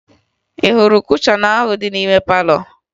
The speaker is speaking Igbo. Ị hụrụ kushọn ahụ dị n'ime palọ?